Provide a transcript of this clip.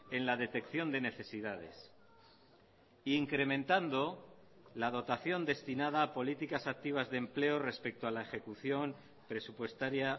en la detección de necesidades e incrementando la dotación destinada a políticas activas de empleo respecto a la ejecución presupuestaria